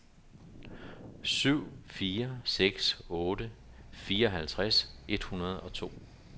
syv fire seks otte fireoghalvtreds et hundrede og to